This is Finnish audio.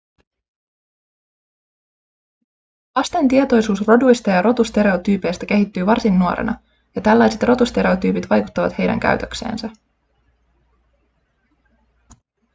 lasten tietoisuus roduista ja rotustereotyypeistä kehittyy varsin nuorena ja tällaiset rotustereotyypit vaikuttavat heidän käytökseensä